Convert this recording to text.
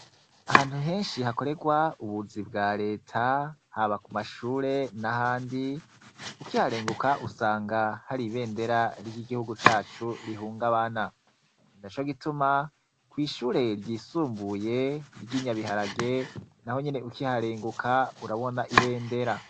Ahantu genshi hakorerwa ubuzi bwa leta, haba ku mashure n' ahandi, ukiharenguka usanga hariho ibendera ry' igihugu cacu rihungabana. Ni naco gituma, kw' ishure ryisumbuye ry' i Nyabiharage, nahonyene ukiharenguka urabona ibendera.